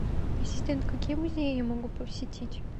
ассистент какие музеи я могу посетить